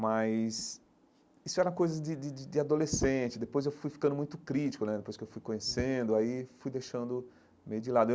Mas isso era coisa de de de de adolescente, depois eu fui ficando muito crítico né, depois que eu fui conhecendo, aí fui deixando meio de lado eu.